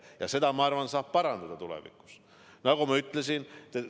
Ja seda, ma arvan, saab tulevikus parandada, nagu ma ütlesin.